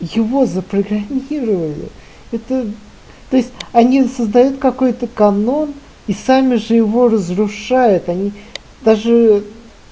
его запрограммировали это то есть они создают какой-то канон и сами же его разрушает они даже